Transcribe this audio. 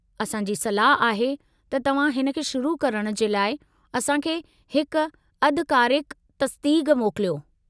असां जी सलाह आहे त तव्हां हिन खे शुरु करण जे लाइ असां खे हिक अधिकारिकु तस्दीक़ मोकिलियो।